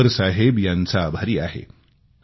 मी अकबर साहेब यांचा आभारी आहे